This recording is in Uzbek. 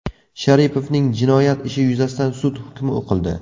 Sharipovning jinoyat ishi yuzasidan sud hukmi o‘qildi.